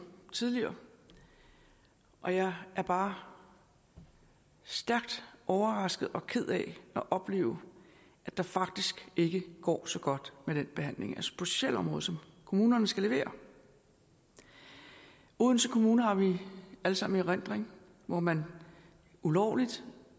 tidligere og jeg er bare stærkt overrasket over og ked af at opleve at det faktisk ikke går så godt med den behandling på socialområdet som kommunerne skal levere odense kommune har vi alle sammen i erindring hvor man ulovligt